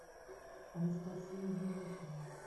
анастасия денисова